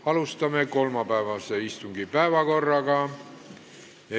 Alustame kolmapäevase istungi päevakorrapunktide läbivaatamist.